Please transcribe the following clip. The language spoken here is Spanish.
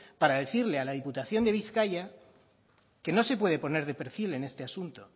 para decirle a la diputación de bizkaia que no se puede poner de perfil en este asunto